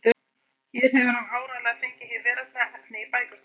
Hér hefur hann áreiðanlega fengið hið veraldlega efni í bækurnar.